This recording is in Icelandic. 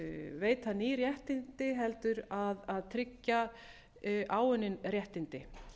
veita ný réttindi heldur að tryggja áunnin réttindi